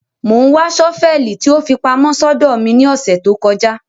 Mo ńwa ṣọ́fẹlì tí ó fi pamọ́ sódó mi ni ọsẹ to kọja